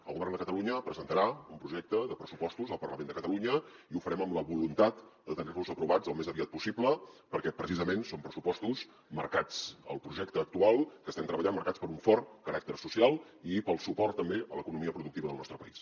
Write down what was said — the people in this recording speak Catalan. el govern de catalunya presentarà un projecte de pressupostos al parlament de catalunya i ho farem amb la voluntat de tenir los aprovats al més aviat possible perquè precisament són pressupostos marcats el projecte actual que estem treballant per un fort caràcter social i pel suport també a l’economia productiva del nostre país